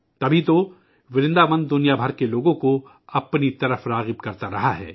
تبھی تو ورنداون دنیا بھر سے لوگوں کو اپنی طرف متوجہ کر تا رہا ہے